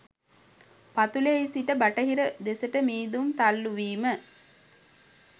පතුලෙහි සිට බටහිර දෙසට මීදුම් තල්ලූවීම